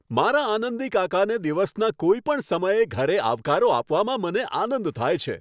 મારા આનંદી કાકાને દિવસના કોઈપણ સમયે ઘરે આવકારો આપવામાં મને આનંદ થાય છે.